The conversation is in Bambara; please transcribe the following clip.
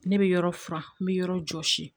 Ne bɛ yɔrɔ furan n bɛ yɔrɔ jɔsi